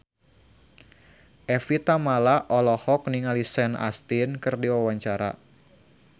Evie Tamala olohok ningali Sean Astin keur diwawancara